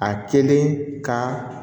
A kelen ka